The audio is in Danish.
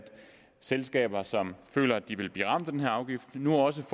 selskaber som føler at de vil blive ramt af den her afgift nu også